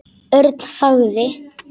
Örn þagði.